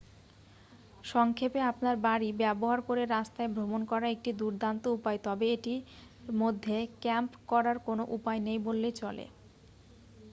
"সংক্ষেপে আপনার গাড়ি ব্যবহার করে রাস্তায় ভ্রমণ করা একটি দুর্দান্ত উপায় তবে এটির মধ্যে "ক্যাম্প" করার কোন উপায় নেই বললেই চলে।